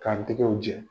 K'an tigɛw jɛ